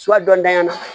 dɔntyan na